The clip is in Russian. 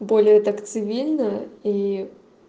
более так цивильно и